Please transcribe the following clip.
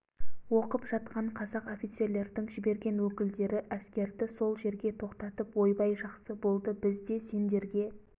оқып жатқан қазақ офицерлердің жіберген өкілдері әскерді сол жерге тоқтатып ойбай жақсы болды біз де сендерге